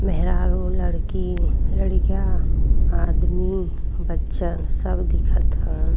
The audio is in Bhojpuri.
मेहरारू लड़की लडकिया आदमी बच्चा सब दिखत हय।